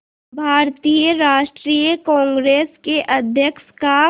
भारतीय राष्ट्रीय कांग्रेस के अध्यक्ष का